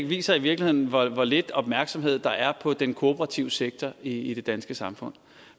viser i virkeligheden hvor lidt opmærksomhed der er på den kooperative sektor i de danske samfund